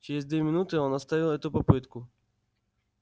через две минуты он оставил эту попытку